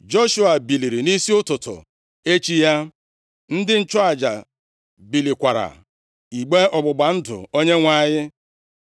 Joshua biliri nʼisi ụtụtụ echi ya, ndị nchụaja bulikwara igbe ọgbụgba ndụ Onyenwe anyị.